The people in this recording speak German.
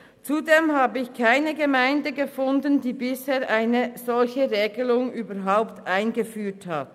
Zudem habe ich keine Gemeinde gefunden, welche bisher eine solche Regelung eingeführt hat.